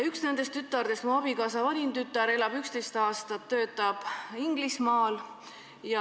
Üks tütardest, mu abikaasa vanim tütar, on Inglismaal elanud ja töötanud 11 aastat.